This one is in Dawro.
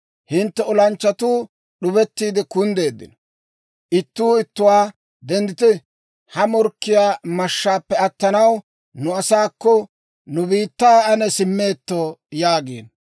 Hintte olanchchatuu d'ubettiide kunddeeddino. Ittuu ittuwaa, ‹Denddite! ha morkkiyaa mashshaappe attanaw, nu asaakko, nu biittaa ane simmeetto› yaagiino.